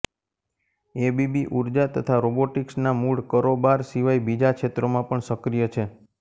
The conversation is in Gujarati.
એબીબી ઉર્જા તથા રોબોટીક્સ ના મુળ કરોબાર સિવાય બીજા ક્ષેત્રો મા પણ સક્રિય છે